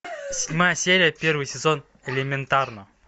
седьмая серия первый сезон элементарно